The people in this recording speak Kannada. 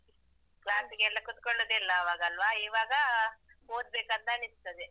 Class ಗೆಲ್ಲ ಕುತ್ಕೊಳ್ಳುದೇ ಇಲ್ಲ ಆವಾಗೆಲ್ಲ ಅಲಾ, ಇವಾಗ ಓದ್ಬೇಕಂತ ಅನಿಸ್ತದೆ.